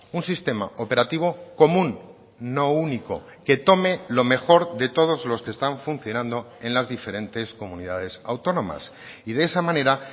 un sistema operativo común no único que tome lo mejor de todos los que están funcionando en las diferentes comunidades autónomas y de esa manera